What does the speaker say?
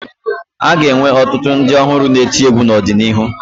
A ga-enwe ọtụtụ ndị ọhụrụ na-eti egwu n'ọdịnihu